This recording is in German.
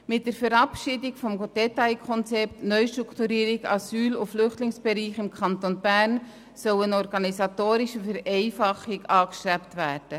Mit der Verabschiedung des Detailkonzepts NA-BE soll eine organisatorische Vereinfachung angestrebt werden.